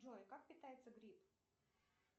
джой как питается гриб